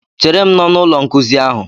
Chere m n'ọnụ ụlọ nkuzi ahụ!